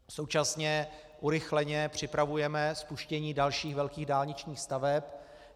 Současně urychleně připravujeme spuštění dalších velkých dálničních staveb.